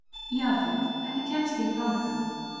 Jafet, hvernig kemst ég þangað?